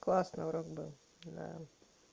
классно урок был да